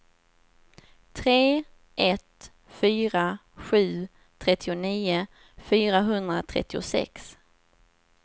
tre ett fyra sju trettionio fyrahundratrettiosex